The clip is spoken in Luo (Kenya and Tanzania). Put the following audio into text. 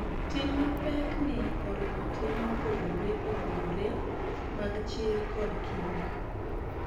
Tim mapek ni oriwo tem mopogore opogore mag chir kod kinda,